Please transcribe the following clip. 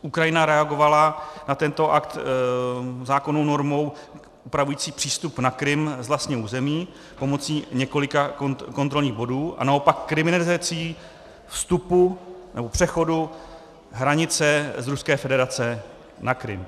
Ukrajina reagovala na tento akt zákonnou normou upravující přístup na Krym z vlastního území pomocí několika kontrolních bodů a naopak kriminalizací vstupu nebo přechodu hranice z Ruské federace na Krym.